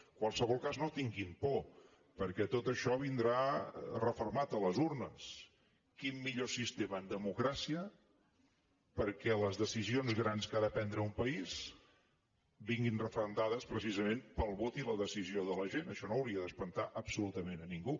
en qualsevol cas no tinguin por perquè tot això vindrà refermat a les urnes quin millor sistema en democràcia que les decisions grans que ha de prendre un país vinguin referendades precisament pel vot i la decisió de la gent això no hauria d’espantar absolutament a ningú